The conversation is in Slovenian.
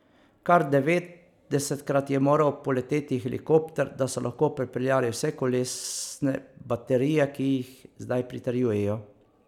Kar devetdesetkrat je moral poleteti helikopter, da so lahko prepeljali vse kolesne baterije, ki jih zdaj pritrjujejo.